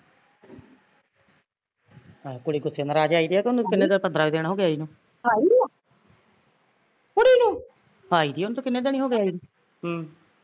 ਕੁੜੀ ਗੁੱਸੇ ਨਰਾਜ਼ ਆਈਦੀ ਐ ਉਹਨੂੰ ਕਿੰਨੇ ਦਿਨ ਪੰਦਰਾਂ ਕੁ ਦਿਨ ਹੋਗੇ ਆਈ ਨੂੰ ਆਈ ਦੀ ਉਹਨੂੰ ਤੇ ਕਿੰਨੇ ਦਿਨ ਹੋਗੇ ਆਈ ਨੂੰ ਹਮ